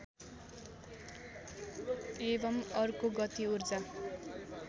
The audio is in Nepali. एवं अर्को गति ऊर्जा